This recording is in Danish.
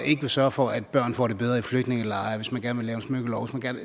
ikke vil sørge for at børn får det bedre i flygtningelejre hvis man gerne vil lave en smykkelov osv